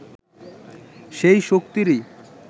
সেই শক্তিরই